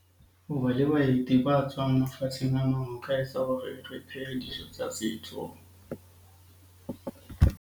Ho ba le baeti ba tswang mafatsheng ana ho ka etsa hore re phehe dijo tsa setso.